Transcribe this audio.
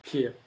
P